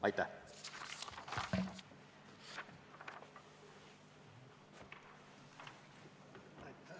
Aitäh!